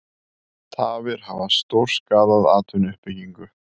Tafir hafa stórskaðað atvinnuuppbyggingu